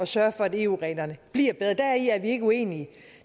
sørge for at eu reglerne bliver bedre deri er vi ikke uenige